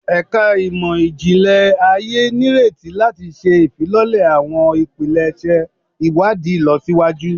Ẹka Imọ-jinlẹ Aye nireti lati ṣe ifilọlẹ awọn ipilẹṣẹ iwadii ilọsiwaju